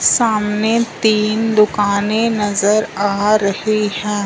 सामने तीन दुकाने नजर आ रही है।